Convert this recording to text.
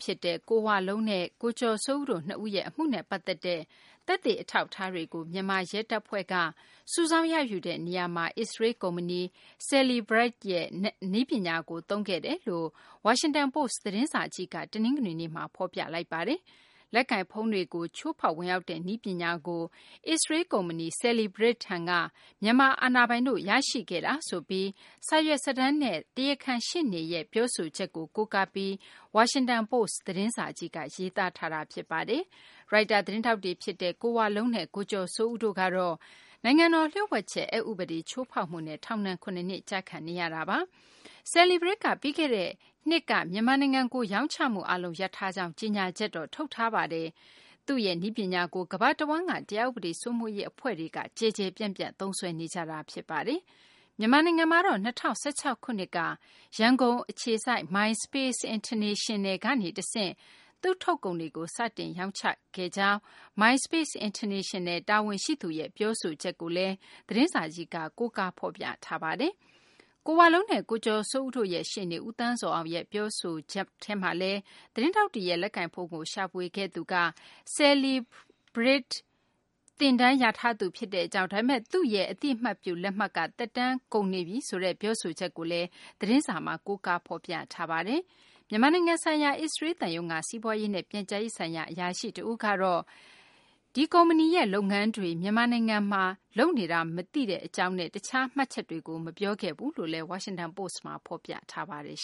ဖြစ်တဲ့ ကိုဝလုံးနဲ့ ကိုကျော်စိုးဦးတို့ နှစ်ဦးရဲ့ အမှုနဲ့ ပတ်သက်တဲ့ သက်သေ အထောက်အထားတွေကို မြန်မာရဲတပ်ဖွဲ့က စုဆောင်းရယူတဲ့ နေရာမှာ အစ္စရေးလ် ကုမ္ပဏီ Cellebrite ရဲ့ နည်းပညာကို အသုံးပြုခဲ့တယ်လို့ ဝါရှင်တန်ပိုစ့် သတင်းစာကြီးက တနင်္ဂနွေနေ့မှာ ဖော်ပြလိုက်ပါတယ်။ လက်ကိုင်ဖုန်းတွေကို ချိုးဖောက်ဝင်ရောက်တဲ့ နည်းပညာကို အစ္စရေးလ် ကုမ္ပဏီ Cellebrite ထံက မြန်မာ အာဏာပိုင်တို့ ရရှိခဲ့တာ ဆိုပြီး စာရွက်စာတမ်းတွေနဲ့ တရားခံရှေ့နေရဲ့ ပြောဆိုချက်တွေကို ကိုးကားပြီး Washington Post သတင်းစာကြီးက ရေးသားတာပါ။ ရိုက်တာ သတင်းထောက်တွေ ဖြစ်တဲ့ ကိုဝလုံးနဲ့ ကိုကျော်စိုးဦးတို့ကတော့ နိုင်ငံတော် လျှို့ဝှက်ချက် အက်ဥပဒေ ချိုးဖောက်မှုနဲ့ ထောင်ဒဏ် ၇ နှစ် ကျခံနေရပါတယ်။ Cellebrite ကတော့ ပြီးခဲ့တဲ့နှစ်က မြန်မာနိုင်ငံကို ရောင်းချမှု အားလုံး ရပ်ထားကြောင်း ကြေညာချက် ထုတ်ထားပါတယ်။ Cellebrite ရဲ့ နည်းပညာကို ကမ္ဘာတဝန်းက တရားဥပဒေ စိုးမိုးရေး အဖွဲ့တွေက ကျယ်ကျယ်ပြန့်ပြန့် သုံးစွဲနေကြတာပါ။ မြန်မာနိုင်ငံမှာတော့ ၂၀၁၆ ခုနှစ်က ရန်ကုန် အခြေစိုက် MySpace International ကနေ တဆင့် သူ့ထုတ်ကုန်တွေကို စတင်ရောင်းချခဲ့ကြောင်း MySpace International တာဝန်ရှိသူရဲ့ ပြောဆိုချက်ကိုလည်း သတင်းစာကြီးက ဖော်ပြပါတယ်။ ကိုဝလုံးနဲ့ ကိုကျော်စိုးဦးတို့ရဲ့ ရှေ့နေ ဦးသန်းဇော်အောင်ရဲ့ ပြောဆိုခဲ့တာမှာလည်း သတင်းထောက်တွေရဲ့ လက်ကိုင်ဖုန်းကို ရှာဖွေခဲ့သူက Cellebrite သင်တန်းရထားသူ ဖြစ်ကြောင်း၊ ဒါပေမယ့် သူ့ရဲ့ Cellebrite အသိအမှတ်ပြု လက်မှတ်က သက်တမ်းကုန်နေပြီလို့ ပြောဆိုချက် ကိုလည်း ကိုးကား ဖော်ပြထားပါတယ်။ မြန်မာနိုင်ငံဆိုင်ရာ အစ္စရေးလ် သံရုံးက စီးပွားရေးနဲ့ ပြန်ကြားရေး ဆိုင်ရာ အရာရှိ တဦးကတော့ Cellebrite ရဲ့ မြန်မာနိုင်ငံတွင်း လုပ်ငန်းတွေကို သံရုံးက မသိကြောင်းနဲ့ တခြားမှတ်ချက်တွေကိုတော့ မပြောဘူးလို့လည်း Washington Post က ဖော်ပြထားပါတယ်